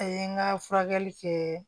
A ye n ka furakɛli kɛ